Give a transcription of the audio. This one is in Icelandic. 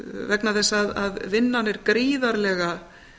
vegna þess að vinnan er gríðarlega